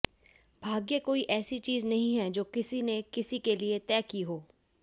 भाग्य कोई ऐसी चीज़ नहीं है जो किसी ने किसी के लिये तय की हो